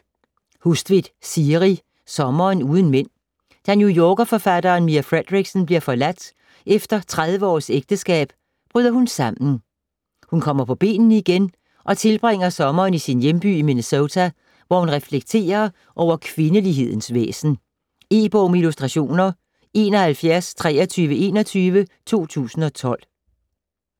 Hustvedt, Siri: Sommeren uden mænd Da New Yorker-forfatteren Mia Fredericksen bliver forladt efter 30 års ægteskab, bryder hun sammen. Hun kommer på benene igen og tilbringer sommeren i sin hjemby i Minnesota, hvor hun reflekterer over kvindelighedens væsen. E-bog med illustrationer 712321 2012.